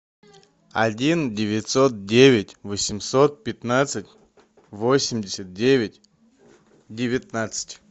один девятьсот девять восемьсот пятнадцать восемьдесят девять девятнадцать